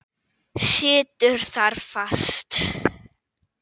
Situr þar fast.